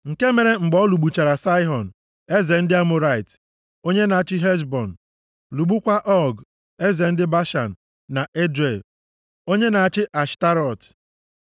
Nke mere mgbe ọ lụgbuchara Saịhọn, eze ndị Amọrait, onye na-achị na Heshbọn, lụgbukwaa Ọg, eze ndị Bashan na Edrei, onye na-achị nʼAshtarọt.